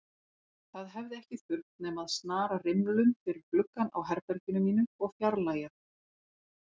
Það hefði ekki þurft nema að snara rimlum fyrir gluggann á herberginu mínu og fjarlægja